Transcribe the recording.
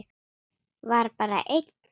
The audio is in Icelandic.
Var bara einn?